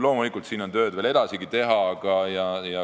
Loomulikult, siin on veel edaspidigi tööd teha.